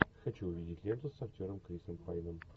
хочу увидеть ленту с актером крисом пайном